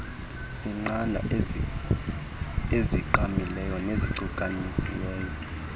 seqanda ezigqamileyo nezicukanisiweyo